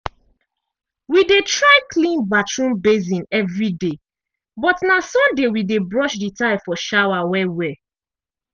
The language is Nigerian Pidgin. we dey try clean bathroom basin evri day but na sunday we dey brush the tile for shower well well.